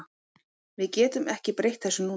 Við getum ekki breytt þessu núna.